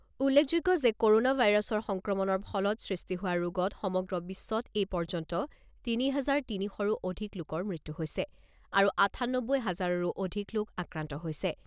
উল্লেখযোগ্য যে ক'ৰনা ভাইৰাছৰ সংক্ৰমণৰ ফলত সৃষ্টি হোৱা ৰোগত সমগ্ৰ বিশ্বত এইপৰ্যন্ত তিনি হাজাৰ তিনি শৰো অধিক লোকৰ মৃত্যু হৈছে আৰু আঠানব্বৈ হাজাৰৰো অধিক লোক আক্ৰান্ত হৈছে।